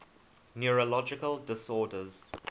neurological disorders